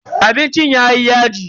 Abincin yayi yaji.